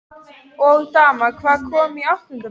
Og daman, hvað- komin í áttunda bekk?